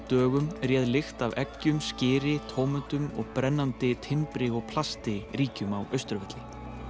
dögum réð lykt af eggjum skyri tómötum og brennandi timbri og plasti ríkjum á Austurvelli